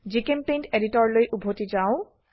জিচেম্পেইণ্ট এডিটৰলৈ উভতি যাও